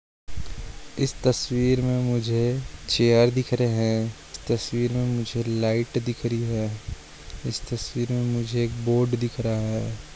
इस तस्वीर मे मुझे चैर दिख रहे है तस्वीर मे मुझे लाइट दिख रही है इस तस्वीर मे मुझे एक बोर्ड दिख रहा है।